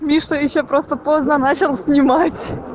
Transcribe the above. места и все просто поздно начал снимать